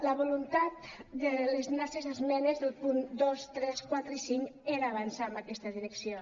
la voluntat de les nostres esmenes als punts dos tres quatre i cinc era avançar en aquesta direcció